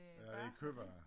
Ja det kødvarer